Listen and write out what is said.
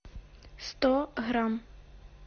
сто грамм